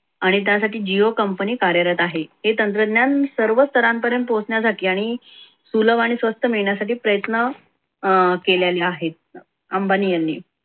आणि त्यासाठी jio company कार्यरत आहे. हे तंत्रज्ञान सर्व स्तरांपर्यंत पोहोचण्यासाठी आणि सुलभ आणि स्वस्त मिळण्यासाठी प्रयत्न अं केलेला आहे. अंबानी यांनी